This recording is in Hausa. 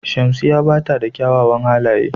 Shamsiya bata da ƙyawawan halaƴe.